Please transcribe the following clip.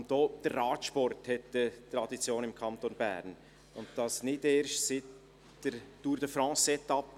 Auch der Radsport hat eine Tradition im Kanton Bern, und das nicht erst seit der Etappe der Tour de France 2016.